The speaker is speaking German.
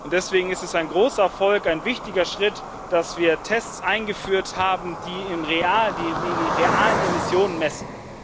Deswegen ist es ein großer Erfolg, ein wichtiger Schritt, dass wir Tests eingeführt haben, die die realen Emissionen messen.